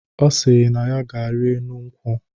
Ọ sịrị na ya ga-ari enu nkwụ.